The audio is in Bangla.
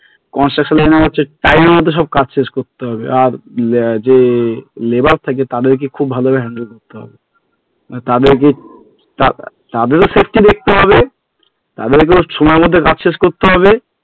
construction মানে হচ্ছে time এর মধ্যে সব কাজ শেষ করতে হবে, আর যে labor থাকে তাদের খুব ভালো ভাবে করতে হবে তাতে যদি তাদের ও safety দেখতে হবে তাদেরকেও সময় মত সব শেষ করতে হবে,